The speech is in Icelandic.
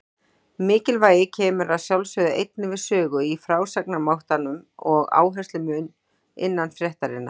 Mikilvægi kemur að sjálfsögðu einnig við sögu í frásagnarmátanum og áherslumun innan fréttarinnar.